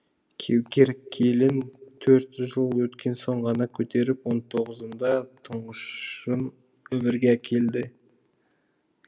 кеукер келін төрт жыл өткен соң ғана көтеріп он тоғызыннда тұңғышын өмірге әкелді